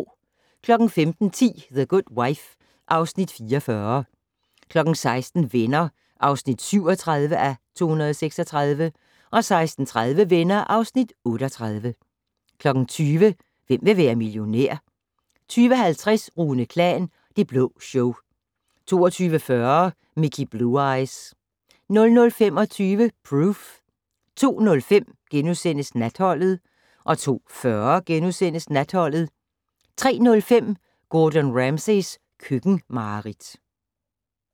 15:10: The Good Wife (Afs. 44) 16:00: Venner (37:236) 16:30: Venner (38:236) 20:00: Hvem vil være millionær? 20:50: Rune Klan: Det Blå Show 22:40: Mickey Blue Eyes 00:25: Proof 02:05: Natholdet * 02:40: Natholdet * 03:05: Gordon Ramsays køkkenmareridt